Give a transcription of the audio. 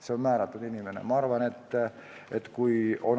Selleks on inimene määratud.